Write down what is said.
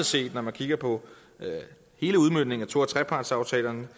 set når man kigger på hele udmøntningen af to og trepartsaftalerne